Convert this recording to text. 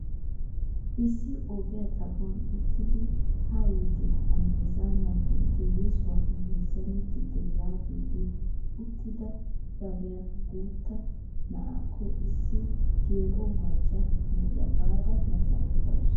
Issi ogiyaa xaphon uttidi haayite ha meezanan intte yesuwaa mezaanettite yaagidi uttida bariyaan guutta na'aakko issi geela'o macca na'iyaa baada meezanettasu.